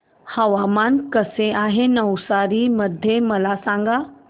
हवामान कसे आहे नवसारी मध्ये मला सांगा